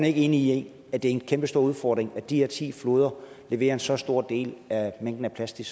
ikke enig i at det er en kæmpestor udfordring at de her ti floder leverer en så stor del af mængden af plastik